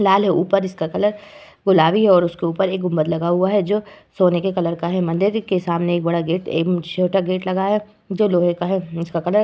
लाल है। उपर इसका कलर गुलाबी है और उसके ऊपर एक गुम्बद लगा हुआ है जो सोने के कलर का है। मंदिर के सामने एक बड़ा गेट एवं छोटा गेट लगा है जो लोहे का है। उसका कलर --